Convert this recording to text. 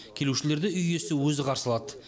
келушілерді үй иесі өзі қарсы алады